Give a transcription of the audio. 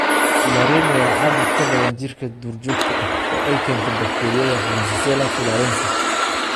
Tularemia waa caabuq ku badan jiirka duurjoogta ah oo ay keento bakteeriyada Francisella tularensis.